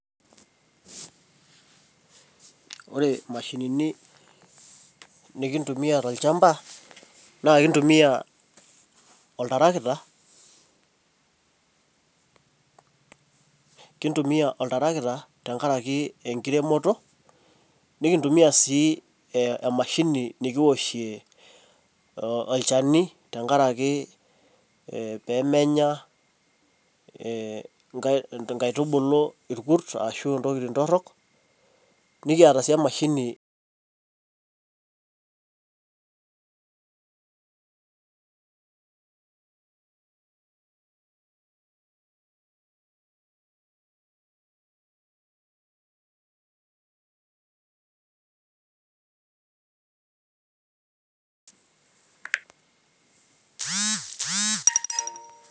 Ore imashinini nikintumia tolchamba, na kintumia oltarakita, kintumia oltarakita tenkaraki enkiremoto, nikintumia si emashini nikiwoshie olchani tenkaraki pemenya inkaitubulu irkurs ashu intokiting torrok, nikiata si emashini..